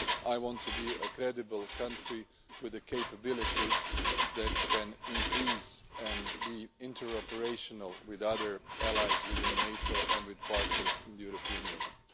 I want to be a credible country with capabilities that can increase and be inter operational with other allies within NATO and with partners in the European Union.